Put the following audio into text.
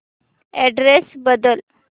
address बदल